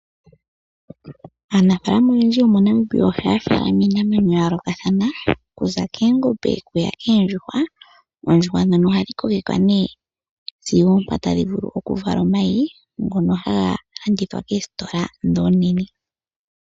Aanafaalama oyendji yomoNamibia ohaya faalama iinamwenyo ya yoolokathana okuza koongombe oku ya koondjuhwa. Oondjuhwa ndhono ohadhi kokekwa nee zigo oompa tadhi vulu oku vala omayi ngono haga landithwa koositola dhi oonene.